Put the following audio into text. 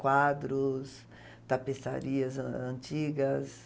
Quadros, tapeçarias ãh antigas.